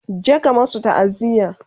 je ka masu ta'aziya!